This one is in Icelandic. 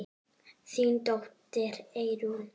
Þín dóttir, Eyrún.